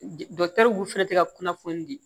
fɛnɛ tɛ ka kunnafoni di